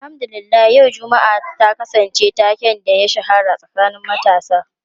Alhamdu lillah yau Juma'a ta kasance taken da ya shahara a tsakanin matasa.